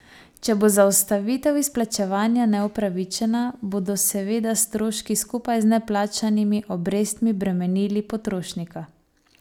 Če bo zaustavitev izplačevanja neupravičena, bodo seveda stroški skupaj z neplačanimi obrestmi bremenili potrošnika.